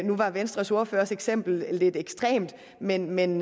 nu var venstres ordførers eksempel lidt ekstremt men men